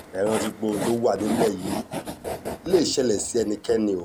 ẹ rántí pé ohun tó wà nílẹ̀ yìí lè ṣẹlẹ̀ sí ẹnikẹ́ni o